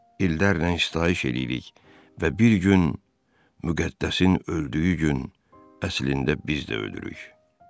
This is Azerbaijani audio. İllərlə sitayiş eləyirik və bir gün müqəddəsin öldüyü gün əslində biz də ölürük.